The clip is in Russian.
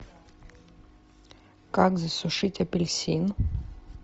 как засушить апельсин